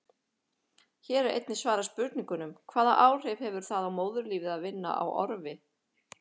Hér er einnig svarað spurningunum: Hvaða áhrif hefur það á móðurlífið að vinna á orfi?